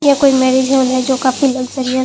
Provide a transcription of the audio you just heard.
ये कोई marriage hall है जो काफी लग्जरी है।